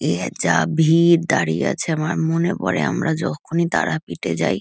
এ যা ভিড় দাঁড়িয়ে আছে আমার মনে পরে আমরা যখনই তারাপীঠে যাই--